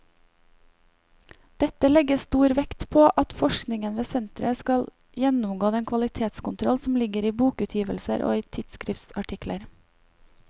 Dette legges stor vekt på at forskningen ved senteret skal gjennomgå den kvalitetskontroll som ligger i bokutgivelser og i tidsskriftsartikler.